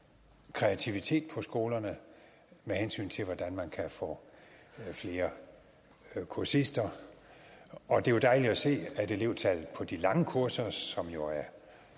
kreativitet på skolerne med hensyn til hvordan man kan få flere kursister og det er dejligt at se at elevtallet på de lange kurser som jo er